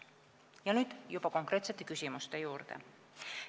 Ja nüüd konkreetsete küsimuste juurde.